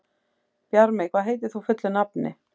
Bjarmi, hvað heitir þú fullu nafni?